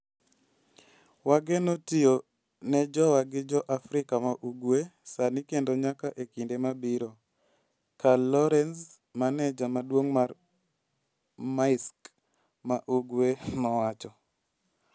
Wageno tiyo ne jowa gi jo Afrika ma Ugwe sani kendo nyaka e kinde mabiro", Carl Lorenz, maneja maduong' mar Maersk ma Ugwe nowacho.